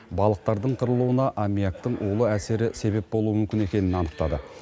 балықтардың қырылуына аммиактың улы әсері себеп болуы мүмкін екенін анықтады